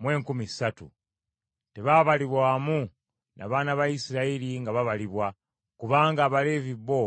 mu enkumi ssatu (23,000). Tebaabalirwa wamu na baana ba Isirayiri nga babalibwa, kubanga Abaleevi bo